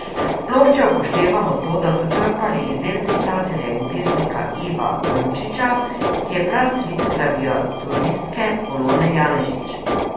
Sploh če upoštevamo to, da so črpali iz del pisatelja in pesnika Iva Brnčića, ki je prastric klaviaturistke Polone Janežič.